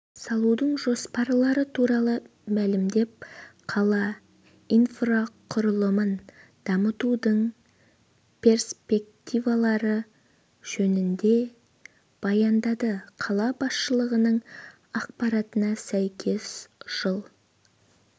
салудың жоспарлары туралы мәлімдеп қала инфрақұрылымын дамытудың перспективалары жөнінде баяндады қала басшылығының ақпаратына сәйкес жыл